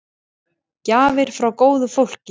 Gjafir frá góðu fólki.